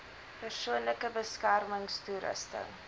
persoonlike beskermings toerusting